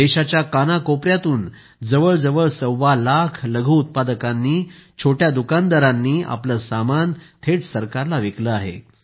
देशाच्या कानाकोपऱ्यातून जवळ जवळ सव्वालाख लघुउत्पादकांनी छोट्या दुकानदारांनी आपले सामान थेट सरकारला विकले आहे